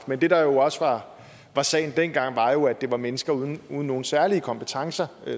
men det der jo også var sagen dengang var at det var mennesker uden nogen særlige kompetencer